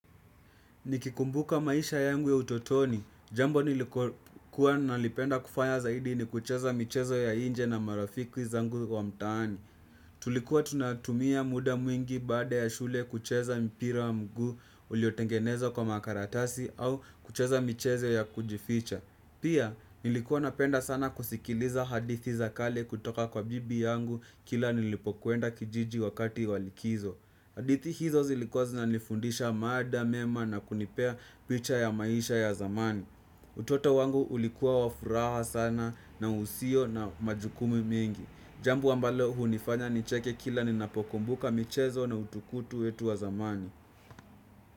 Nikikumbuka maisha yangu ya utotoni, jambo nililokuwa nikipenda kufanya zaidi ni kucheza michezo ya nje na marafiki zangu wa mtaani. Tulikuwa tunatumia muda mwingi baada ya shule kucheza mpira wa mguu uliotengenezwa kwa makaratasi au kucheza michezo ya kujificha. Pia nilikuwa napenda sana kusikiliza hadithi za kale kutoka kwa bibi yangu kila nilipokwenda kijiji wakati wa likizo. Hadithi hizo zilikuwa zinanifundisha mada mema na kunipea picha ya maisha ya zamani. Utoto wangu ulikuwa wa furaha sana na usio na majukumu mengi. Jambo ambalo hunifanya nicheke kila ninapokumbuka michezo na utukutu wetu wa zamani.